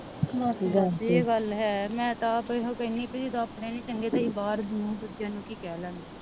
ਏਹ ਗੱਲ ਹੈ ਮੈਂ ਤਾ ਆਪ ਇਹੋ ਕੇਹਨੀ ਵੀ ਜਦੋ ਆਪਣੇ ਨੀ ਚੰਗੇ ਤੇ ਅਸੀਂ ਬਾਹਰ ਦੂਜੇ ਨੂੰ ਕਿ ਕੇਹ ਲੈਣਾ